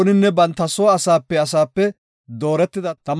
Shin Leewe kochati taybetibookona.